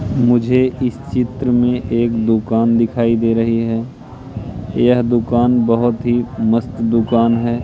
मुझे इस चित्र में एक दुकान दिखाई दे रहे है यह दुकान बहोत ही मस्त दुकान है।